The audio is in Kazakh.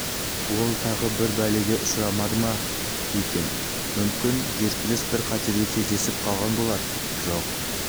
ол тағы бір бәлеге ұшырамады ма екен мүмкін геркулес бір қатерге кездесіп қалған болар жоқ